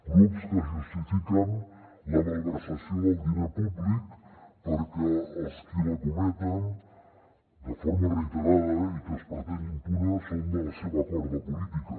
grups que justifiquen la malversació del diner públic perquè els qui la cometen de forma reiterada i que es pretén impune són de la seva corda política